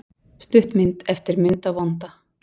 Stuttmynd eftir Munda vonda